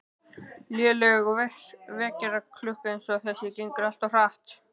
Léleg vekjaraklukka eins og þessi gengur alltaf of hratt